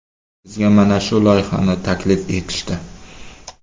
Bizga mana shu loyihani taklif etishdi.